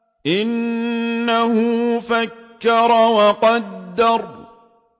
إِنَّهُ فَكَّرَ وَقَدَّرَ